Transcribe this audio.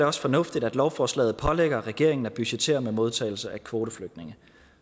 også fornuftigt at lovforslaget pålægger regeringen at budgettere med modtagelse af kvoteflygtninge